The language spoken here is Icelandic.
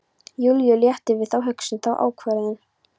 Júlíu léttir við þá hugsun, þá ákvörðun.